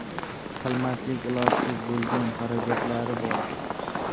Qilmaslik ilojsiz bo‘lgan xarajatlari bor.